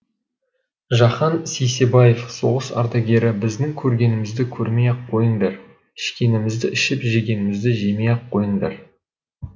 жахан сейсебаев соғыс ардагері біздің көргенімізді көрмей ақ қойыңдар ішкенімізді ішіп жегенімізді жемей ақ қойыңдар